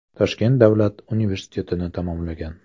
Toshkent davlat universitetini tamomlagan.